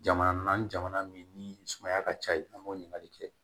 Jamana naani jamana min ni sumaya ka ca yen an b'o ɲininkali kɛ